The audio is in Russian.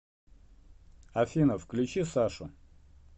афина включи сашу